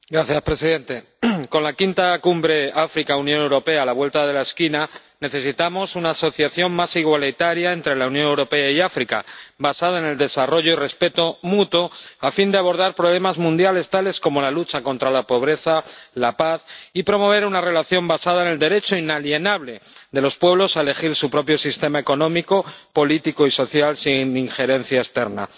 Señor presidente, con la quinta cumbre África-Unión Europea a la vuelta de la esquina necesitamos una asociación más igualitaria entre la Unión Europea y África, basada en el desarrollo y respeto mutuo, a fin de abordar problemas mundiales tales como la lucha contra la pobreza o la paz, y de promover una relación basada en el derecho inalienable de los pueblos a elegir su propio sistema económico, político y social, sin injerencia externa.